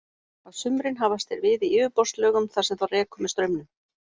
Á sumrin hafast þeir við í yfirborðslögum þar sem þá rekur með straumum.